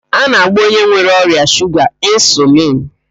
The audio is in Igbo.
A na-agba onye nwere ọrịa shuga insulin.